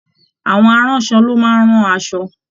Àwọn aránṣọ ló máa ń rán asọ